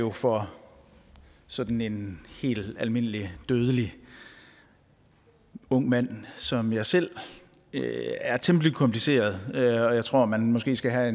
jo for sådan en helt almindelig dødelig ung mand som mig selv er temmelig kompliceret og jeg tror at man måske skal have